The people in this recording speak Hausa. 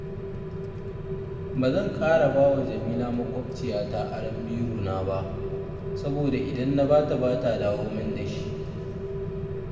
Ba zan ƙara bawa jamila maƙwabciyata aron birona ba, saboda idan na bata ba ta dawo min da shi